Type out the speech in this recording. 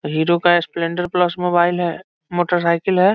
Hero का Splendor plus mobile है motorcycle है।